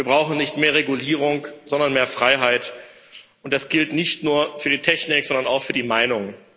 Wir brauchen nicht mehr Regulierung, sondern mehr Freiheit, und das gilt nicht nur für die Technik, sondern auch für die Meinung.